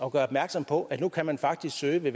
at gøre opmærksom på at nu kan man faktisk søge